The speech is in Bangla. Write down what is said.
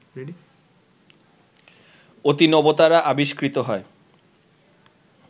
অতিনবতারা আবিষ্কৃত হয়